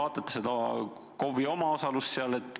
Kas te arvestate KOV-i omaosalust?